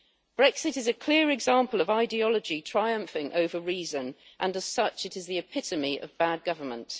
Brexit is a clear example of ideology triumphing over reason and, as such, it is the epitome of bad government.